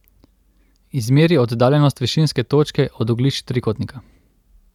Izmeri oddaljenost višinske točke od oglišč trikotnika.